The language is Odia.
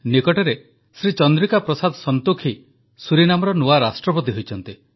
ନିକଟରେ ଶ୍ରୀ ଚନ୍ଦ୍ରିକା ପ୍ରସାଦ ସଂତୋଖି ସୁରିନାମର ନୂଆ ରାଷ୍ଟ୍ରପତି ହୋଇଛନ୍ତି